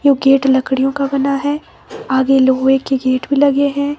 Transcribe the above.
ये गेट लकड़ियों का बना है आगे लोहे के गेट भी लगे हैं।